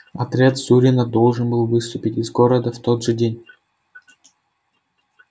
отряд зурина должен был выступить из города в тот же день